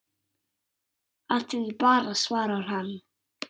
Af því bara svarar hann.